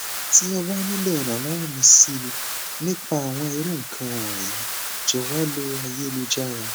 ti o ba nilo iranlowo mi si nipa awon iru ikan wonyi jowo lo ayelujara